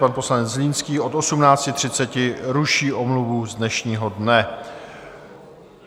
Pan poslanec Zlínský od 18.30 ruší omluvu z dnešního dne.